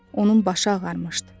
Onun başı ağarmışdı.